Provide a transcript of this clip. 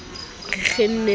re kgenne e le ka